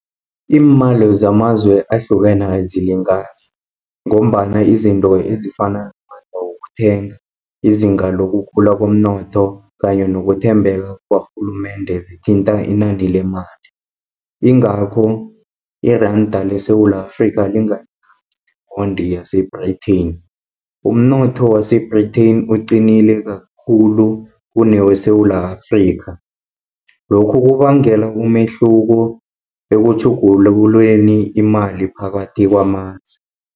Iimali zamazwe ahlukene azilingani, ngombana izinto ezifana namandla wokuthenga, izinga lokukhula komnotho kanye nokuthembeka kwarhulumende zithinta inani lemali. Ingakho iranda leSewula Afrikha, lingalingani neponde yase-Britain, umnotho wase-Britain uqinile kakhulu kuneweSewula Afrika. Lokhu kubangela umehluko ekutjhugululeni imali phakathi kwamazwe.